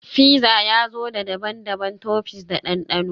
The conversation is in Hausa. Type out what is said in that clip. Fizza ya zo da daban-daban toppings da dandano